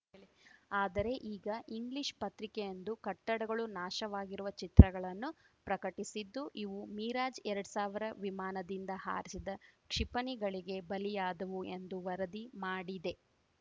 ಆದರೆ ಈಗ ಇಂಗ್ಲಿಷ್ ಪತ್ರಿಕೆಯೊಂದು ಕಟ್ಟಡಗಳು ನಾಶವಾಗಿರುವ ಚಿತ್ರಗಳನ್ನು ಪ್ರಕಟಿಸಿದ್ದು ಇವು ಮಿರಾಜ್ಎರಡ್ ಸಾವಿರ ವಿಮಾನದಿಂದ ಹಾರಿಸಿದ ಕ್ಷಿಪಣಿಗಳಿಗೆ ಬಲಿಯಾದವು ಎಂದು ವರದಿ ಮಾಡಿದೆ